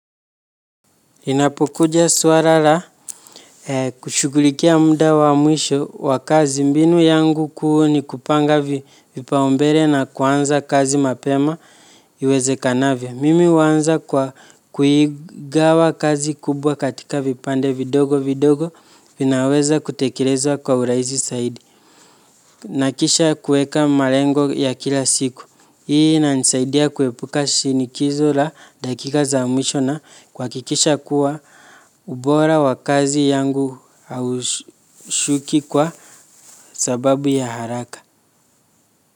Inapokuja suala la kushughulikia muda wa mwisho wa kazi mbinu yangu kuu ni kupanga vipaumbele na kuanza kazi mapema iwezekanavyo. Mimi huanza kwa kuigawa kazi kubwa katika vipande vidogo vidogo vinaweza kutekelezwa kwa urahisi zaidi. Na kisha kueka malengo ya kila siku. Hii inanisaidia kuepuka shinikizo la dakika za mwisho na kuhakikisha kuwa ubora wa kazi yangu haushuki kwa sababu ya haraka.